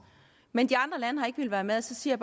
men de andre lande har ikke villet være med og så siger